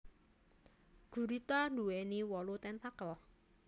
Gurita duwéni wolu tentakel